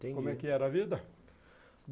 Como é que era a vida?